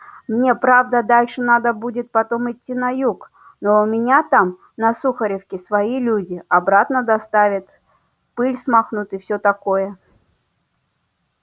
мне правда дальше надо будет потом идти на юг но у меня там на сухаревке свои люди обратно доставят пыль смахнут и всё такое